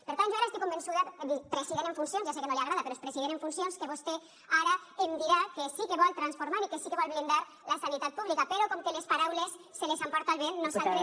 per tant jo ara estic convençuda president en funcions ja sé que no li agrada però és president en funcions que vostè ara em dirà que sí que vol transformar i que sí que vol blindar la sanitat pública però com que les paraules se les emporta el vent nosaltres